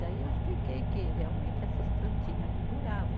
Daí eu expliquei que realmente essas plantinhas não duravam.